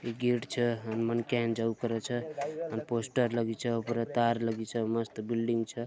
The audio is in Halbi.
यह गेट छ मन जे करे करू स पोस्टर लगी च ऊपर तार लगी च मस्त बिल्डिग च